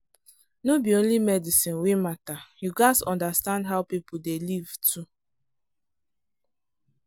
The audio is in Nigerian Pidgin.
no be only medicine wey matter — you gats understand how people dey live too.